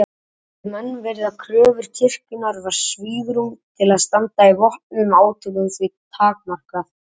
Vildu menn virða kröfur kirkjunnar var svigrúm til að standa í vopnuðum átökum því takmarkað.